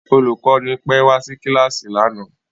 Olùkọ́ni pẹ́ wá sí kíláàsì lánàá